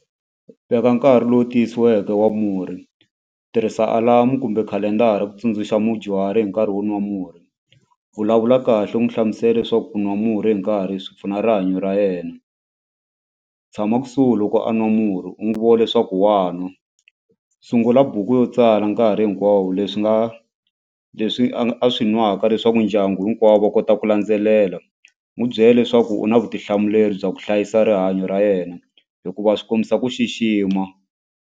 Veka nkarhi lowu tiyisiweke wa murhi tirhisa alarm-u kumbe khalendara ku tsundzuxa mudyuhari hi nkarhi wo nwa murhi vulavula kahle u n'wi hlamusela leswaku ku nwa murhi hi nkarhi swi pfuna rihanyo ra yena tshama kusuhi loko a nwa murhi u n'wi vona leswaku wa nwa sungula buku yo tsala nkarhi hinkwawo leswi nga leswi a swi nwaka leswaku ndyangu hinkwavo va kota ku landzelela n'wu byela leswaku u na vutihlamuleri bya ku hlayisa rihanyo ra yena hikuva swi kombisa ku xixima.